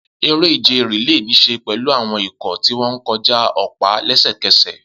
Eré-ìje relay ní í ṣe pẹ̀lú àwọn ikọ̀ tí wọ́n ń kọjá ọ̀pá lẹ́sẹ̀kẹsẹ̀.